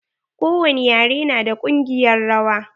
Ko wani ƴare na da kungiƴar rawa.